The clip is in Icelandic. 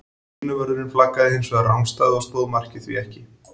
Línuvörðurinn flaggaði hins vegar rangstæðu og stóð markið því ekki.